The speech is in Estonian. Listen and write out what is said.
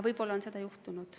Võib-olla on seda siiski juhtunud.